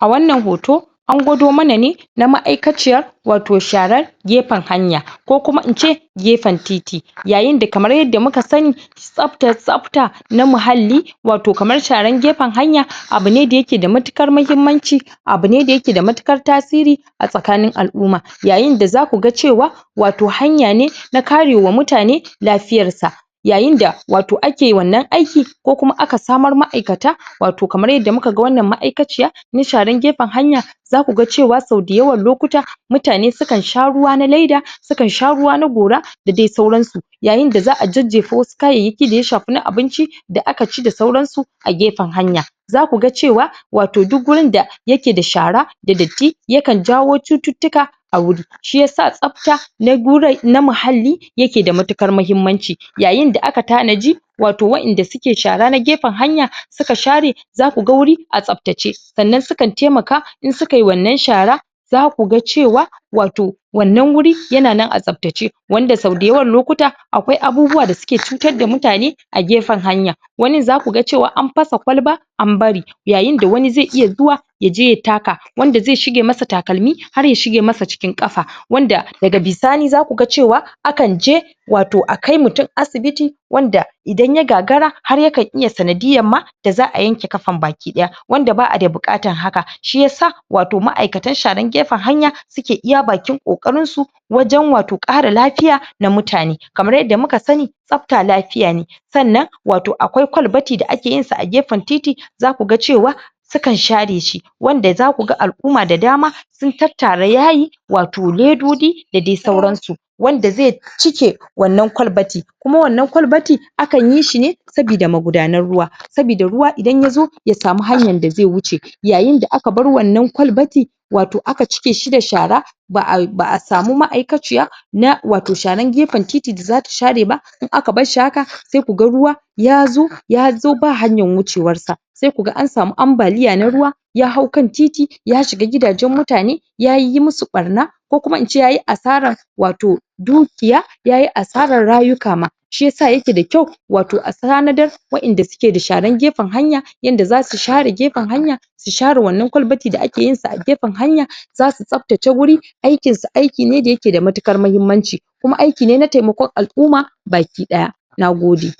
A wanna hoto, an gwado mana ne na ma'aikaciya wato sharar gefen hanya, ko kuma ince gefen titi. Yayin da kamar yadda muka sani, tsafta tsafta, na muhalli wato kamar sharan gefen hanya, abu ne da ya ke da matuƙar muhimmanci abu ne da ya ke da matuƙar tasiri a tsakanin al'umma. Yayin da za ku ga cewa wato hanya ne na karewa mutane lafiyarsa. Yayin da wato ake wannan aiki ko kuma aka samar ma'aikata, kamar wato kamar yadda muka wannan ma'aikaciya don sharan gefen hanya za ku ga cewa sau da yawan loluta mutane sukan sha ruwa na leda, sukan sha ruwa na gora da dai sauran su. yayin da za'a jejjefa wasu kayayyaki da ya shafi na abinci da aka ci da sauran su a gefen hanya. Za ku ga cewa wato duk wurin da ya ke da shara da datti yakan jawo cututtuka a wuri. Shi yasa tsafta na wurai na muhalli ya ke da matuƙar muhimmanci. Yayin da aka tanaji wato waƴanda suke shara na gefen hanya suke share za ku ga wuri a tsaftace. Sannan sukan taimaka in suka yi wannan shara za ku ga cewa wato wannan wuri ya na nan a tsaftace, wanda sau da yawa lokuta akwai abubuwa da suke cutar da mutane a gefen hanya wani za ku ga cewa an fasa kwalba an bari. Yayin da wani zai iya zuwa yaje ya taka wanda zai shige masa takalmi har ya shige masa cikin ƙafa wanda daga bisani za ku gacewa akan je wato akai mutum asibiti, wanda idan ya gagara har yakan iya sanadiyar ma da za'a yanke ƙafan baki ɗaya wanda ba'a da buƙatan haka. Shi yasa wato ma'akatan sharan gefen hanya suke iya bakin ƙoƙarin su wajen wato ƙara lafiya wa mutane. Kamar yadda muka sani tsafta lafiya ne wato akwai kwalbati da ake yin sa a gefen titi, za ku ga cewa suka share shi. Wanda za ku ga al'umma da dama sun tattara yayi, wato ledodi da dai sauran su. Wanda zai cike wannan kwalbati, kuma wannan kwalbatin akan yi shi ne sabida magudanar ruwa, sabida ruwa idan ya zo ya samu hanyan da zai wuce. Yayin da aka bar wannan kwalbati, wato aka cike shi da shara ba'ai ba'a samu ma'aikaciya na wato sharan gefen titi da za ta share ba in aka bar shi haka sai ku ga ruwa ya zo, ya zo ba hanyan wucewansa. Sai ku ga an samu ambaliya na ruwa, ya hau kan titi ya shiga gidajen mutane, ya yiyyi musu ɓanna, ko kuma ince yayi asarar wato dukiya, yayi asarar rayuka ma. Shi yasa ya ke da kyau wato a tanadar waƴanda suke da sharan gefen hanya, yanda za su share gefen hanya su share wannan kwalbati da ake yin sa a gefen hanya. Za su tsaftace wuri, aikinsu aiki ne da ya ke da matuƙar mahimmanci kuma aiki ne na taimakon al'umma baki ɗaya. Nagode!